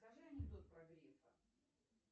расскажи анекдот про грефа